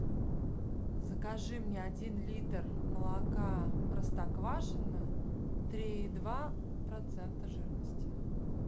закажи мне один литр молока простоквашино три и два процента жирности